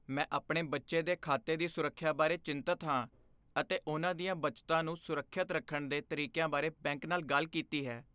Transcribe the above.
ਮੈਂ ਆਪਣੇ ਬੱਚੇ ਦੇ ਖਾਤੇ ਦੀ ਸੁਰੱਖਿਆ ਬਾਰੇ ਚਿੰਤਤ ਹਾਂ ਅਤੇ ਉਹਨਾਂ ਦੀਆਂ ਬੱਚਤਾਂ ਨੂੰ ਸੁਰੱਖਿਅਤ ਰੱਖਣ ਦੇ ਤਰੀਕਿਆਂ ਬਾਰੇ ਬੈਂਕ ਨਾਲ ਗੱਲ ਕੀਤੀ ਹੈ।